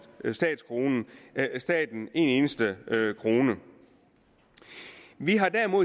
staten en eneste krone vi har